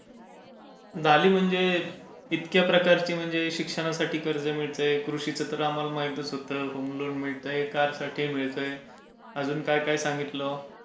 झाली म्हणजे इतक्या प्रकारची म्हणजे शिक्षणासाठी कर्ज मिळते कृषी तर आम्हाला माहीतच होते होम लोन मिळते अजून कार साठी सांगितलं.